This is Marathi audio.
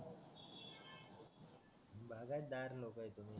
बागतदार लोक आहात तुम्ही